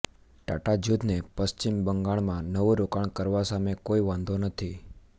ટાટા જૂથને પશ્ચિમ બંગાળમાં નવું રોકાણ કરવા સામે કોઈ વાંધો નથી